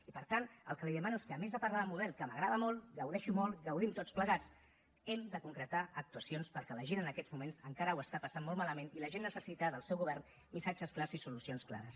i per tant el que li demano és que a més de parlar de model que m’agrada molt en gaudeixo molt en gaudim tots plegats hem de concretar actuacions perquè la gent en aquests moments encara ho està passant molt malament i la gent necessita del seu govern missatges clars i solucions clares